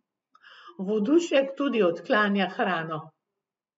Vodušek tudi odklanja hrano.